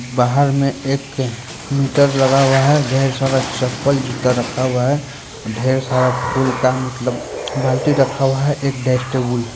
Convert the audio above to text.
बाहर में एक मीटर लगा हुआ है ढेर सारा चप्पल जूता रखा हुआ है ढेर सारा फूल का मतलब बाल्टी रखा हुआ है एक ड़ेक्स टेबुल --